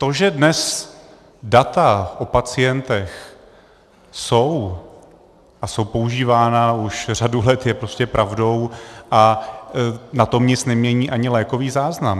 To, že dnes data o pacientech jsou a jsou používána už řadu let, je prostě pravdou a na tom nic nemění ani lékový záznam.